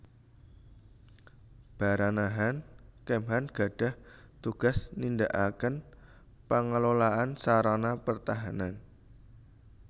Baranahan Kemhan gadhah tugas nindakaken pengelolaan sarana pertahanan